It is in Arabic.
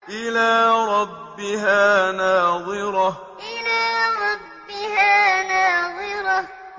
إِلَىٰ رَبِّهَا نَاظِرَةٌ إِلَىٰ رَبِّهَا نَاظِرَةٌ